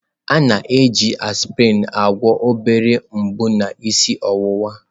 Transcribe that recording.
A na-eji aspịrịn na-agwọ obere mgbu na isi ọwụwa.